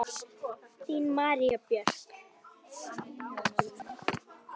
Þín María Björk.